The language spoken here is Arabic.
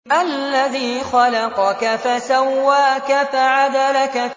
الَّذِي خَلَقَكَ فَسَوَّاكَ فَعَدَلَكَ